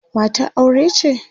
matar aure ce?